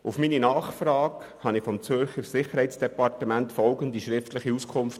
Auf meine Nachfrage hin erhielt ich vom Zürcher Sicherheitsdepartement folgende schriftliche Auskunft: